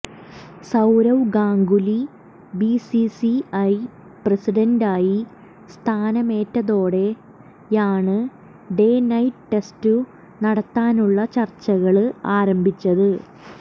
Sourav Ganguly BCCI പ്രസിഡന്റായി സ്ഥാനമേറ്റതോടെയാണ് day night test നടത്താനുള്ള ചര്ച്ചകള് ആരംഭിച്ചത്